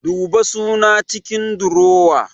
Duba suna cikin durowa